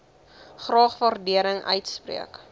graag waardering uitspreek